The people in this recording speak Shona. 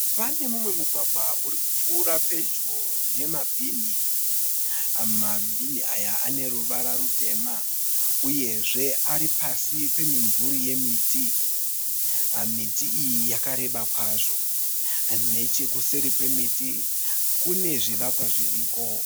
Pane mumwe mugwagwa uri kupfuura pedyo nemabhinhi. Mabhinhi aya ane ruvara rutema uyezve ari pasi pemimvuri yemiti. Miti iyi yakareba kwazvo. Nechekuseri kwemiti kune zvivakwa zviriko.